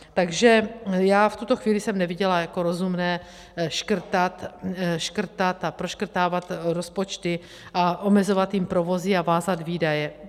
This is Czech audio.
Takže já v tuto chvíli jsem neviděla jako rozumné škrtat a proškrtávat rozpočty a omezovat tím provozy a vázat výdaje.